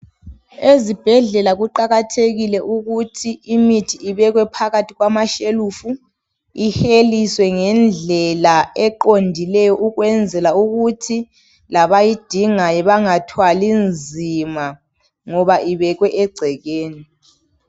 Ezibhedlela kuqakathekile ukuthi imithi ibekwe phakathi kwamashelufu, iheliswe ngendlela eqondileyo ukwenzela ukuthi labayidingayo bangathwali nzima ngoba ibekwe egcekeni.